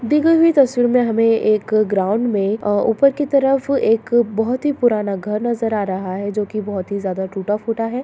दी गई हुई तस्वीर मे हमे एक ग्राउन्ड मे अ ऊपर की तरफ एक बहुत ही पुराना घर नजर आ रहा है जो की बहुत ही ज्यादा टूटा-फूटा है।